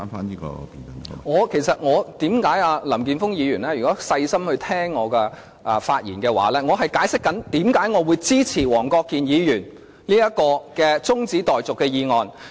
如果林健鋒議員細心聆聽我發言的話，就知道我正在解釋，為甚麼我支持黃國健議員這項中止待續議案。